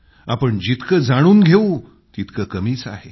आपण जितकं जाणून घेवू तितकं कमीच आहे